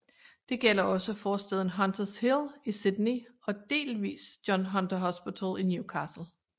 Det gælder også forstaden Hunters Hill i Sydney og delvist John Hunter Hospital i Newcastle